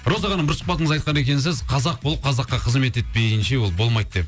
роза ханым бір сұхбатыңызда айтқан екенсіз қазақ болып қазаққа қызмет етпейінше ол болмайды деп